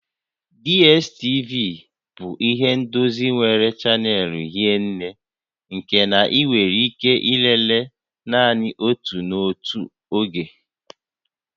DSTV bụ ihe ndozi nwere chanel hie nné nke na ị nwere ike ilele naanị otu n'otu oge